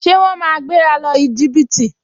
Ṣé wọ́n máa gbéra lọ Íjíbítì?